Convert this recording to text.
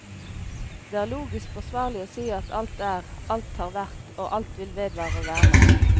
Det er logisk forsvarlig å si at alt er, alt har vært og alt vil vedvare å være.